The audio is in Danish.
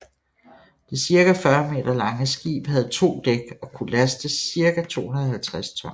Det cirka 40 meter lange skib havde to dæk og kunne laste cirka 250 tons